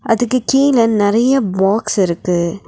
அதுக்கு கீழ நறைய பாக்ஸ் இருக்கு.